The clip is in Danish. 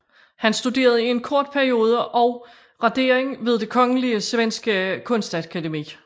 Han studerede i en kort periode også radering ved Det Kongelige Svenske Kunstakademi